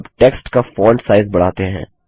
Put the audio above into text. अब टेक्स्ट का font size बढ़ाते हैं